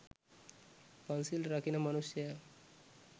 පන්සිල් රකින මනුෂ්‍යා